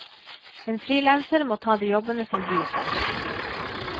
En frilanser må ta de jobbene som byr seg.